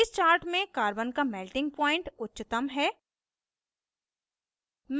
इस chart में carbon का melting point उच्चतम है